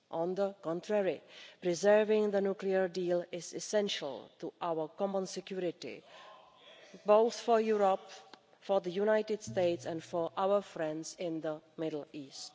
On the contrary, preserving the nuclear deal is essential to our common security both for Europe, for the United States and for our friends in the Middle East.